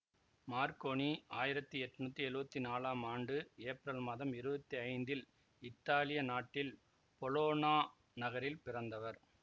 Marconi ஆயிரத்தி எட்ணூத்தி எழுவத்தி நாலாம் ஆண்டு ஏப்ரல் மாதம் இருவத்தி ஐந்தில் இத்தாலிய நாட்டில் பொலொனா நகரில் பிறந்தவர்